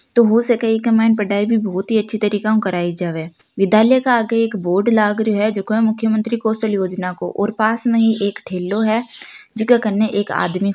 तो हो सके इके मायने पढाई भी बोहोत ही अछे तरीके उ कराइ जावे विद्यालय के आगे एक बोर्ड लग रियो है जको मुख्यमंत्री कौशल योजना को और पास में ही एक ही ठेलो है जेक खने एक आदमी --